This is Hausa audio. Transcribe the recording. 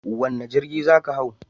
Wane jirgi za ka hau?